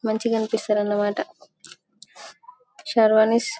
మంచిగానిపిస్తాదన్నమాట sherwanis --